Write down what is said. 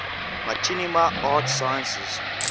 machinima arts sciences